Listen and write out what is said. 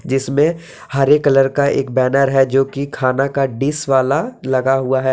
जिसमें हरे कलर का एक बैनर है जो कि खाना का डिश वाला लगा हुआ है।